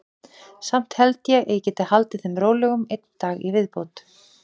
Samt held ég að ég geti haldið þeim rólegum einn dag í viðbót.